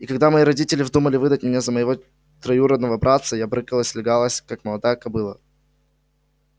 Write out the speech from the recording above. и когда мои родители вздумали выдать меня за моего троюродного братца я брыкалась лягалась как молодая кобыла